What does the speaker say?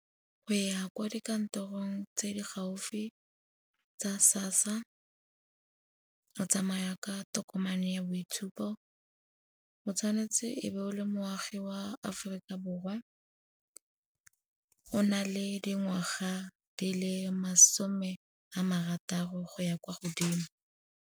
O ya kwa dikantorong tse di gaufi tsa SASSA. O tsamaya ka tokomane ya boitshupo, o tshwanetse e be o le moagi wa Aforika Borwa, o na le dingwaga di le masome a marataro go ya kwa godimo.